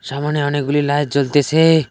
সামোনে অনেকগুলি লাইট জ্বলতেসে।